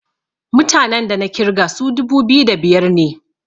mutanen da na kirga su dubu biyu da biyar ne